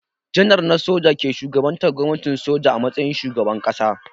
Janar na soja ke shugabantar gwamnatin soja a matsayin shugaban ƙasa.